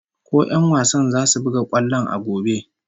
Ko 'yan wasan zasu buga kwallon a gobe?